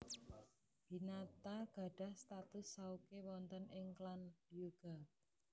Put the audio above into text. Hinata gadhah status souke wonten ing klan Hyuuga